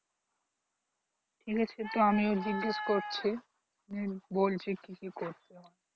ঠিক আছে তো আমিও জিজ্ঞেস করছি নিয়ে বলছি কি কি করতে হয়